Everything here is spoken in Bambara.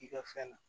I ka fɛn na